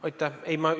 Aitäh!